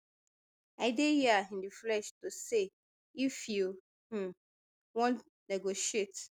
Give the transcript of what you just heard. i dey hia in di flesh to say if you um wan negotiate